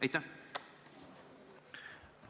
Aitäh!